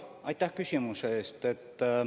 Aitäh küsimuse eest!